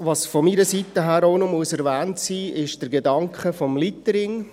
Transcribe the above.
Was von meiner Seite auch noch erwähnt sein muss, ist der Gedanke des Litterings.